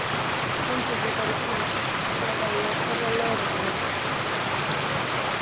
Komdu þér þarna út eða ég kalla á lögregluna.